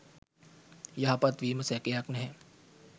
යහපත් වීම සැකයක් නැහැ.